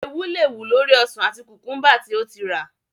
Eewú le wù lórí ọsàn àti kùkúḿbà tí ó ti rà.